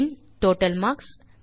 பின் total marks